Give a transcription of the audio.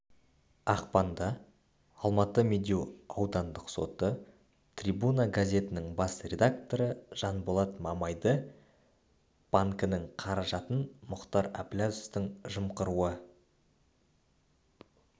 ақпанда алматының медеу аудандық соты трибуна газетінің бас редакторы жанболат мамайды банкінің қаражатын мұхтар әбіләзовтың жымқыруы